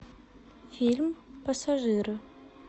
фильм пассажиры